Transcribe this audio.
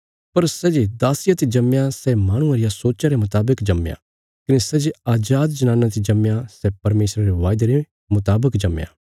पर सै जे दासिया ते जम्मया सै माहणुये रिया सोच्चा रे मुतावक जम्मया कने सै जे अजाद जनाना ते जम्मया सै परमेशरा रे वायदे रे मुतावक जम्मया